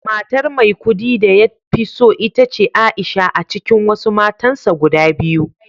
Matar Maikudi da ya fi so ita ce Aisha a cikin wasu matansa guda biyu